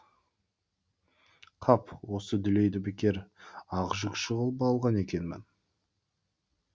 қап осы дүлейді бекер ақ жүкші ғып алған екенмін